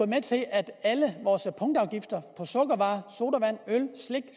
med til at alle vores punktafgifter på sukkervarer sodavand øl slik